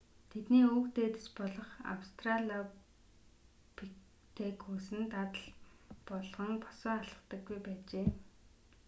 тэдний өвөг дээдэс болох австралопитекус нь дадал болгон босоо алхдаггүй байжээ